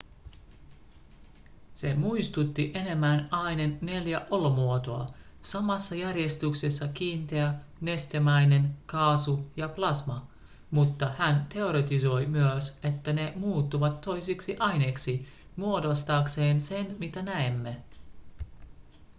se muistutti enemmän aineen neljää olomuotoa samassa järjestyksessä kiinteä nestemäinen kaasu ja plasma mutta hän teoretisoi myös että ne muuttuvat toisiksi aineiksi muodostaakseen sen mitä näemme